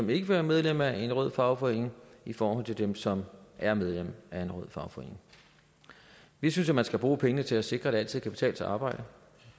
vil være medlem af en rød fagforening i forhold til dem som er medlem af en rød fagforening vi synes at man skal bruge pengene til at sikre at det altid kan betale sig at arbejde